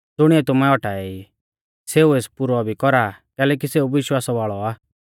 ज़ुणीऐ तुमै औटाएई सेऊ एस पुरौ भी कौरा कैलैकि सेऊ विश्वास वाल़ौ आ